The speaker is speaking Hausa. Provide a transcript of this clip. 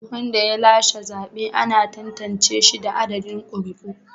Wanda ya lashe zabe ana tantance shi da adadin ƙuri'u.